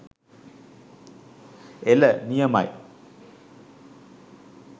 එල නියමයි